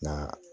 Nka